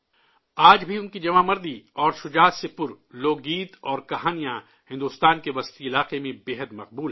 آج بھی ان کی بہادری اور شجاعت سے بھرے لوک گیت اور کہانیاں بھارت کے وسطی علاقے میں کافی مقبول ہیں